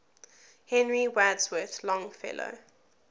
henry wadsworth longfellow